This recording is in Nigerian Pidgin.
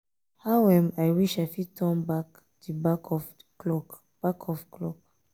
how um i wish i fit turn back di back of clock. back of clock. um